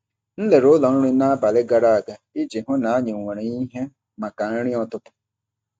M lelere ụlọ nri n’abalị gara aga iji hụ na anyị nwere ihe maka nri ụtụtụ.